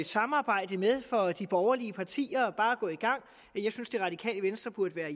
samarbejde med for de borgerlige partier det er bare at gå i gang jeg synes det radikale venstre burde være